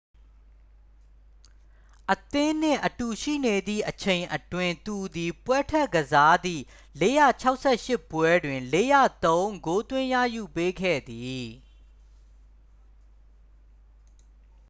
အသင်းနှင့်အတူရှိနေသည့်အချိန်အတွင်း သူသည် ပွဲထွက်ကစားသည့် 468 ပွဲတွင် 403 ဂိုးသွင်းရယူပေးခဲ့သည်